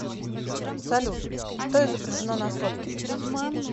салют что изображено на сотке